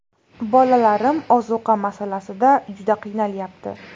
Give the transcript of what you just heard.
Bolalarim ozuqa masalasida juda qiynalyapti.